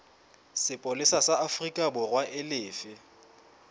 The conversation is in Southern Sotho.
sepolesa sa aforikaborwa e lefe